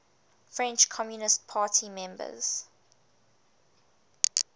french communist party members